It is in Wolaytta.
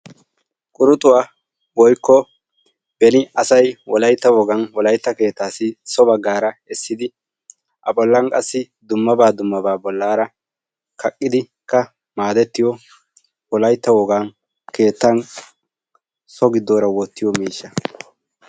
Quruxxuwaa woykko beni asay wolaytta wogan so bagaara wottidi so miishshaa kaqqidi so gidoora go'ettiyo miishsha.